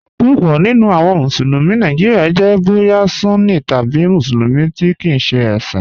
Púpọ̀ nínu awọn Musulumi Nàìjíríà jẹ̀ bóyà Sunní tabi Musulumi tí kìí ṣẹ ẹ̀ṣin.